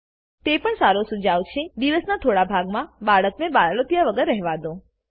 તે પણ સારો સુજાવ છે કે દિવસના થોડા ભાગમાં બાળક ને બાળોતિય વગર રહેવાદો